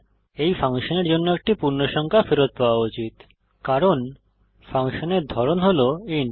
এই ফাংশনের জন্য একটি পূর্ণসংখ্যা ফেরত পাওয়া উচিত কারণ ফাংশনের ধরন হল ইন্ট